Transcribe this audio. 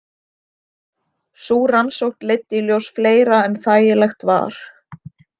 Sú rannsókn leiddi í ljós fleira en þægilegt var.